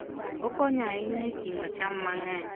Okonyo ahinya e ting'o cham mang'eny.